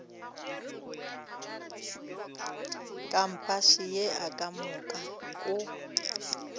kampase ye ka moka o